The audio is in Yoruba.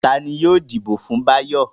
Ta ni yóò dìbò fún Báyọ̀?